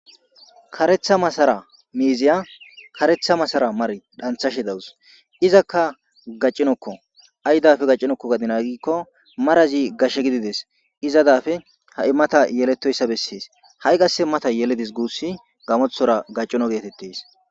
Karetha masara miiziya karetha masara mar dhanthashe dawus izakka gaccinokko aydafe gaccinokko gadina gikko marazi gashshe gidides izadafe ha7i mata yeletoyssa bessees ha7i qasse mata yeledis guussi gamothora gaccino geetettes.